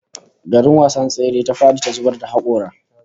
Garin wasan tsere ta fadi ta zubar da hakora